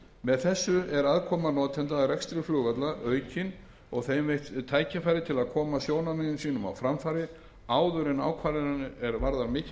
með þessu er aðkoma notenda að rekstri flugvalla aukin og þeim veitt tækifæri til að koma sjónarmiðum sínum á framfæri áður en ákvarðanir er varða